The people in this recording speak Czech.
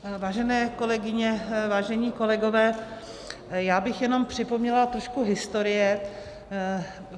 Vážené kolegyně, vážení kolegové, já bych jenom připomněla trošku historie.